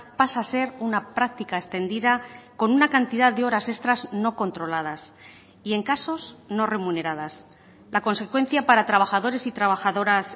pasa a ser una práctica extendida con una cantidad de horas extras no controladas y en casos no remuneradas la consecuencia para trabajadores y trabajadoras